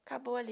Acabou ali.